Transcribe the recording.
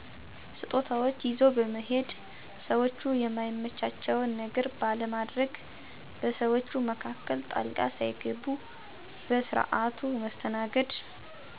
ስጦታዎች ይዞ በመሔድ፣ ሰዎቹ የማይመቻቸውን ነገር ባለማድግ፣ በሰዎች መካከል ጣልቃ ሣይገቡ በስርዓቱ መስተናገድ።